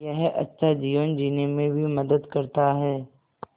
यह अच्छा जीवन जीने में भी मदद करता है